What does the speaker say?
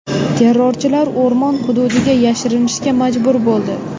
Terrorchilar o‘rmon hududiga yashirinishga majbur bo‘ldi.